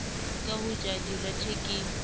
ka ho ja direthe ke